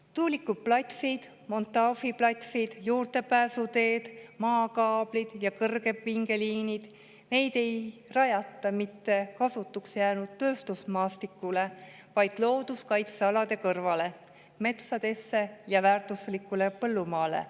Tuulikuplatsid, montaažiplatsid, juurdepääsuteed, maakaablid ja kõrgepingeliinid – neid ei rajata mitte kasutuks jäänud tööstusmaastikule, vaid looduskaitsealade kõrvale, metsadesse ja väärtuslikule põllumaale.